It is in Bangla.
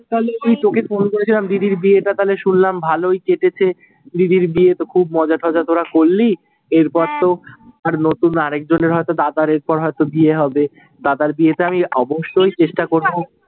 তালে এই তোকে ফোন করেছিলাম, দিদির বিয়েটা তালে শুনলাম ভালোই কেটেছে। দিদির বিয়েতে খুব মজাটজা তোরা করলি। এর পর তো হ্যাঁ আর নতুন আর এক জনের হয়তো দাদার এরপর হয়তো বিয়ে হবে, দাদার বিয়েতে আমি অবশ্যই চেষ্টা করবো।